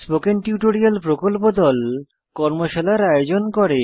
spoken tutorial প্রকল্প দল কর্মশালার আয়োজন করে